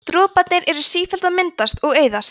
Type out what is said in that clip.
droparnir eru sífellt að myndast og eyðast